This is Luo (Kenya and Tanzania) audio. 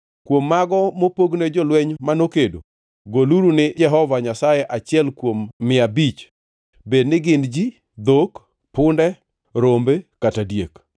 Kuom mago mopogne jolweny mano kedo, goluru ni Jehova Nyasaye achiel kuom mia abich bed ni gin ji, dhok, punde, rombe kata diek.